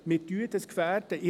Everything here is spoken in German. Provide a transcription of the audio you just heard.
Wir gefährden es!